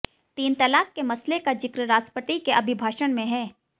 तीन तलाक के मसले का जिक्र राष्ट्रपति के अभिभाषण में है